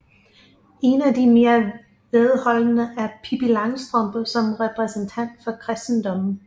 En af de mere vedholdende er Pippi Langstrømpe som repræsentant for kristendommen